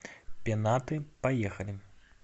пенаты поехали